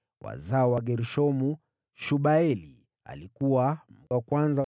Wazao wa Gershomu: Shebueli alikuwa wa kwanza.